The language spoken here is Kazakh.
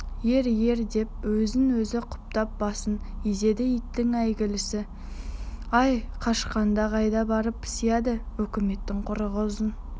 ер ер деп өзін-өзі құптап басын изеді иттің әйгілісі-ай қашқанда қайда барып сияды өкіметтің құрығы ұзын